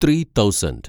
three thousand